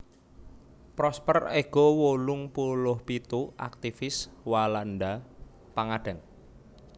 Prosper Ego wolung puluh pitu aktivis Walanda pangadeg